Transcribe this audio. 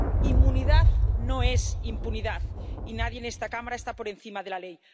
Inmunidad no es impunidad y nadie en esta Cámara está por encima de la ley.